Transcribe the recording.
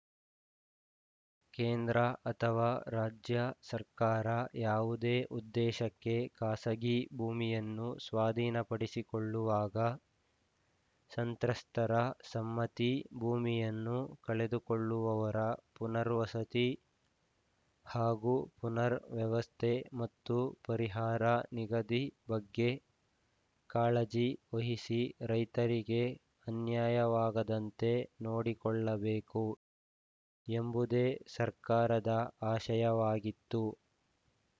ಕೇಂದ್ರ ಅಥವಾ ರಾಜ್ಯ ಸರ್ಕಾರ ಯಾವುದೇ ಉದ್ದೇಶಕ್ಕೆ ಖಾಸಗಿ ಭೂಮಿಯನ್ನು ಸ್ವಾಧೀನಪಡಿಸಿಕೊಳ್ಳುವಾಗ ಸಂತ್ರಸ್ತರ ಸಮ್ಮತಿ ಭೂಮಿಯನ್ನು ಕಳೆದುಕೊಳ್ಳುವವರ ಪುನರ್ವಸತಿ ಹಾಗೂ ಪುನರ್‌ ವ್ಯವಸ್ಥೆ ಮತ್ತು ಪರಿಹಾರ ನಿಗದಿ ಬಗ್ಗೆ ಕಾಳಜಿ ವಹಿಸಿ ರೈತರಿಗೆ ಅನ್ಯಾಯವಾಗದಂತೆ ನೋಡಿಕೊಳ್ಳಬೇಕು ಎಂಬುದೇ ಸರ್ಕಾರದ ಆಶಯವಾಗಿತ್ತು